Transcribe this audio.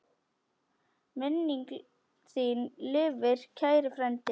Minning þín lifir, kæri frændi.